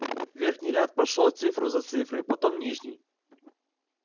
верхний ряд прошёл цифру за цифрой потом нижний